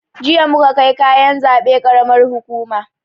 Jiya muka kai kayan zaɓe karamar hukuma